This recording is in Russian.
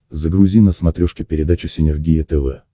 загрузи на смотрешке передачу синергия тв